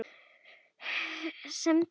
Semdu um það við hann.